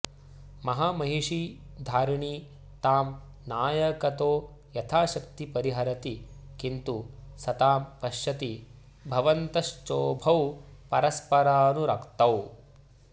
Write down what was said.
महामहिषी धारिणी तां नायकतो यथाशक्ति परिहरति किन्तु स तां पश्यति भवंतश्चोभौ परस्परानुरक्तौ